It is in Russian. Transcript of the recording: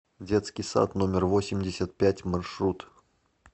детский сад номер восемьдесят пять маршрут